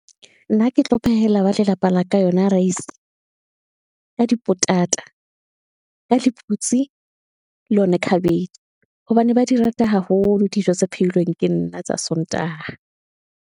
Nna ke tlo phehela ba lelapa la ka yona rice ka di potata, ka lephutse, le yona khabetjhe, hobane ba di rata haholo. Dijo tse pheilweng ke nna tsa sontaha.